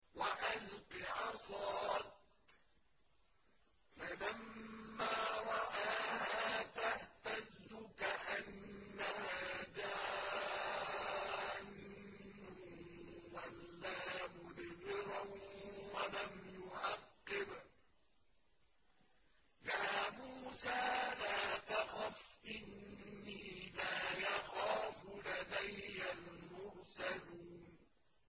وَأَلْقِ عَصَاكَ ۚ فَلَمَّا رَآهَا تَهْتَزُّ كَأَنَّهَا جَانٌّ وَلَّىٰ مُدْبِرًا وَلَمْ يُعَقِّبْ ۚ يَا مُوسَىٰ لَا تَخَفْ إِنِّي لَا يَخَافُ لَدَيَّ الْمُرْسَلُونَ